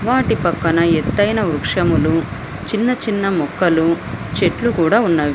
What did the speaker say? వాటి పక్కన ఎతైన వృక్షములు చిన్న చిన్న మొక్కలు చెట్లు కూడా ఉన్నవి.